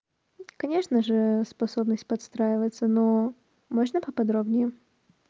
конечно же способность подстраиваться но можно поподробнее